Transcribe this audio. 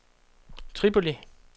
Tripoli